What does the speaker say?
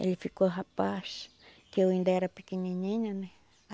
Ele ficou rapaz, que eu ainda era pequenininha, né?